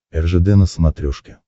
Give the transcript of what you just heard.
ржд на смотрешке